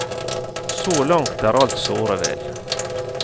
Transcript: Så langt er alt såre vel.